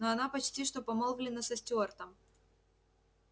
но она почти что помолвлена со стюартом